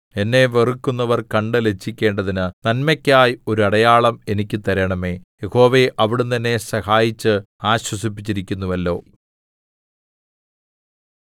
എന്നെ വെറുക്കുന്നവർ കണ്ട് ലജ്ജിക്കേണ്ടതിന് നന്മയ്ക്കായി ഒരു അടയാളം എനിക്ക് തരണമേ യഹോവേ അവിടുന്ന് എന്നെ സഹായിച്ച് ആശ്വസിപ്പിച്ചിരിക്കുന്നുവല്ലോ